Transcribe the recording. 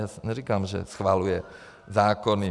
Já neříkám, že schvaluje zákony.